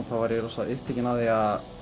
var ég upptekinn að því að